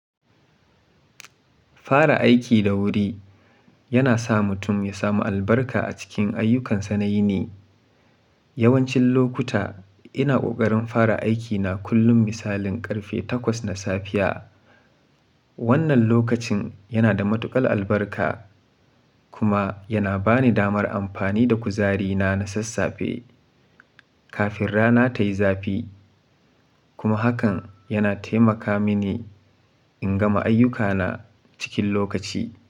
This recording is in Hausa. Fara aiki da wuri yana sa mutum ya samu albarka a cikin ayyukansa na yi ni. Yawancin lokuta ina ƙoƙarin fara aikina kullum misalin ƙarfe takwas na safiya. Wannan lokacin yana da matuƙar albarka kuma yana bani damar amfani da kuzarina na sassafe kafin rana ta yi zafi. Kuma hakan yana taimaka mini in gama ayyukana cikin lokaci.